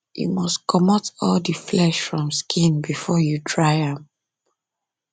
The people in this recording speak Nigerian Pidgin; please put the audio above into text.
you must comot all the flesh from skin before you dry am